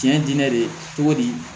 Diɲɛ dinɛ de togo di